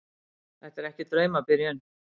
Þetta er ekki draumabyrjun.